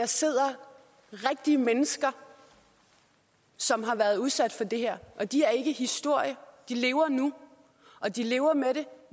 sidder rigtige mennesker som har været udsat for det her og de er ikke historie for de lever nu og de lever med det